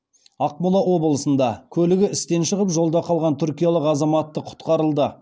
ақмола облысында көлігі істен шығып жолда қалған түркиялық азаматты құтқарылды